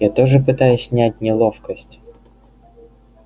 я тоже пытаюсь снять неловкость